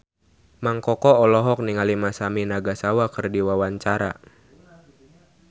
Mang Koko olohok ningali Masami Nagasawa keur diwawancara